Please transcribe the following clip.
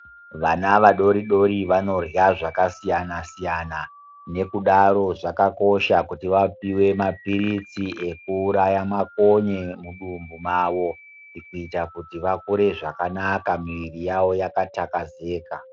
Vana vadodori vanorya zvakasiyana siyana nekudaro zvakakosha kuti vapuwe mapirizi ekuuraya makonye mudumbu mavo kuita kuti vakure zvakanaka mwiri yawo yakatazeka.